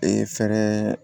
Ee fɛɛrɛ